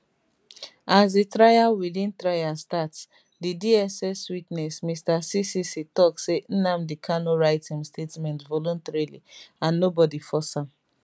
as di trial within trial start di dss witness mr ccc tok say nnamdi kanu write im statement voluntarily and nobody force am